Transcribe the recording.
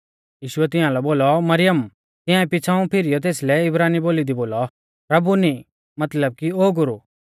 यीशुऐ तियांलै बोलौ मरियम तियांऐ पिछ़ाऊं फिरीऔ तेसलै इब्रानी बोली दी बोलौ रब्बूनी मतलब कि ओ गुरु